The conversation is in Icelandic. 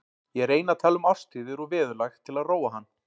Ég reyni að tala um árstíðir og veðurlag til að róa hann.